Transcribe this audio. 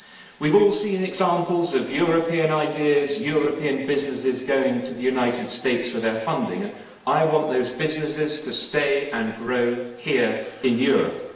We have all seen examples of European ideas and European businesses going to the United States for their funding. I want those businesses to stay and grow here in Europe.